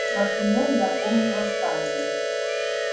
например я помню восстание